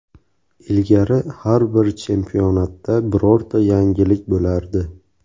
Ilgari, har bir chempionatda birorta yangilik bo‘lardi.